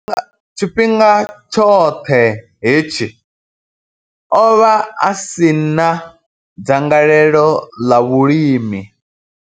Tshifhinga tshoṱhe hetshi, o vha a si na dzangalelo ḽa vhulimi.